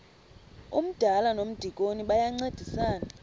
umdala nomdikoni bayancedisana